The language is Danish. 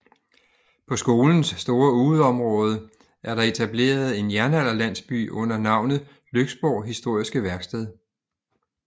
På skolens store udeområde er der etableret en jernalderlandsby under navnet Lyksborg Historiske Værksted